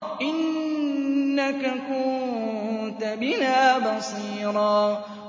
إِنَّكَ كُنتَ بِنَا بَصِيرًا